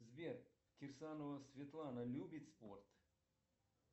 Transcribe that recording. сбер кирсанова светлана любит спорт